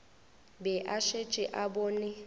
be a šetše a bone